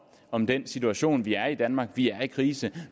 om den situation vi er i i danmark vi er i krise